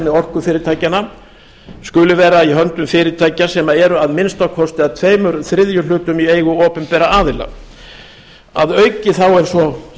orkufyrirtækjanna skuli vera í höndum fyrirtækja sem eru að minnsta kosti að tveir þriðju hlutum í eigu opinberra aðila að auki er svo